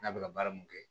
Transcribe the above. N'a bɛ ka baara mun kɛ